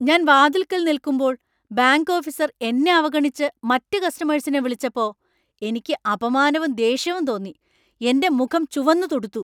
ഞാൻ വാതിൽക്കൽ നിൽക്കുമ്പോൾ ബാങ്ക് ഓഫീസർ എന്നെ അവഗണിച്ച് മറ്റ് കസ്റ്റമേഴ്സിനെ വിളിച്ചപ്പോ എനിക്ക് അപമാനവും ദേഷ്യവും തോന്നി, എന്‍റെ മുഖം ചുവന്നുതുടുത്തു .